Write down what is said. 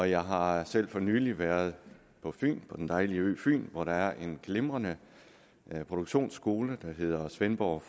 jeg har selv for nylig været på den dejlige ø fyn hvor der er en glimrende produktionsskole der hedder svendborg